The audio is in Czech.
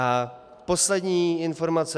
A poslední informace.